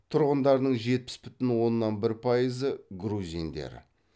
тұрғындарының жетпіс бүтін оннан бір пайызы грузиндер